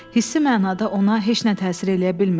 Hissi mənada ona heç nə təsir eləyə bilmirdi.